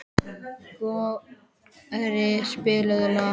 Skorri, spilaðu lag.